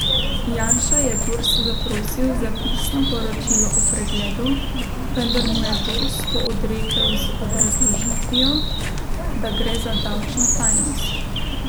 Janša je Durs zaprosil za pisno poročilo o pregledu, vendar mu je Durs to odrekel z obrazložitvijo, da gre za davčno tajnost.